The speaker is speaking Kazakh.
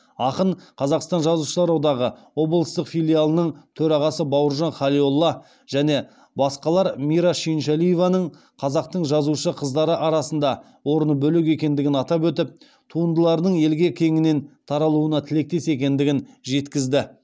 ақын қазақстан жазушылар одағы облыстық филиалының төрағасы бауыржан халиолла және басқалар мира шүйіншәлиеваның қазақтың жазушы қыздары арасында орны бөлек екендігін атап өтіп туындыларының елге кеңінен таралуына тілектес екендігін жеткізді